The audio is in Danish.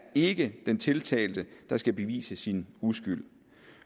ikke den tiltalte der skal bevise sin uskyld